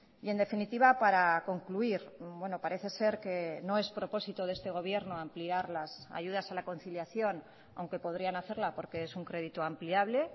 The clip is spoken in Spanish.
y en definitiva para concluir parece ser que no es propósito de este gobierno ampliar las ayudas a la conciliación aunque podrían hacerla porque es un crédito ampliable